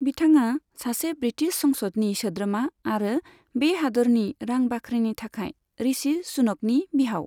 बिथाङा सासे ब्रिटिश संसदनि सोद्रोमा आरो बे हादोरनि रां बाख्रिनि गाहाय, ऋषि सुनकनि बिहाव।